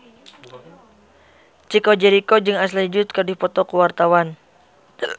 Chico Jericho jeung Ashley Judd keur dipoto ku wartawan